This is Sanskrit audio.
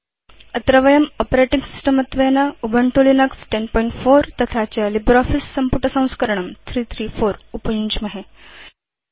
अत्र वयं आपरेटिंग सिस्टम् त्वेन उबुन्तु लिनक्स 1004 तथा च लिब्रियोफिस सम्पुटसंस्करणं 334 उपयुञ्ज्महे